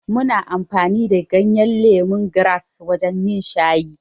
Muna amfani da ganyen lemongrass wajen yin shayi.